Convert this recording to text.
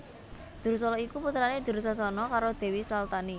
Dursala iku putrane Dursasana karo Dewi Saltani